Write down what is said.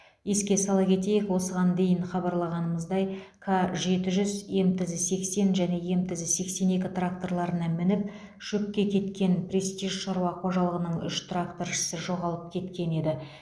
еске сала кетейік осыған дейін хабарлағанымыздай к жеті жүз мтз сексен және мтз сексен екі тракторларына мініп шөпке кеткен престиж шаруа қожалығының үш тракторшысы жоғалып кеткен еді